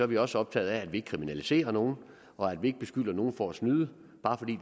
vi også optaget af at vi ikke kriminaliserer nogen og at vi ikke beskylder nogen for at snyde bare fordi